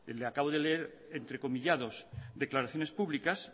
le acabo de leer entrecomillados declaraciones públicas